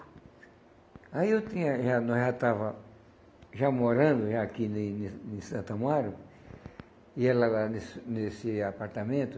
Aí eu tinha já Nós já estava já morando já aqui em Santo Amaro, e ela lá nesse nesse apartamento.